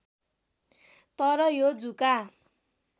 तर यो जुका